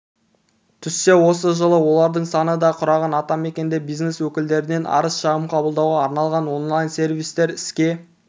түссе осы жылы олардың саны ды құраған атамекенде бизнес өкілдерінен арыз-шағым қабылдауға арналған онлайн-сервистер іске